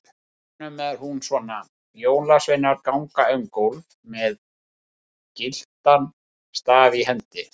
Hjá honum er hún svona: Jólasveinar ganga um gólf með gyltan staf í hendi.